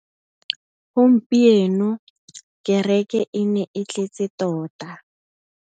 Gompieno kêrêkê e ne e tletse tota.